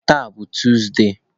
Taa bụ Tuzde.